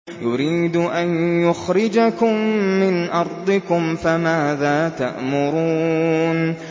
يُرِيدُ أَن يُخْرِجَكُم مِّنْ أَرْضِكُمْ ۖ فَمَاذَا تَأْمُرُونَ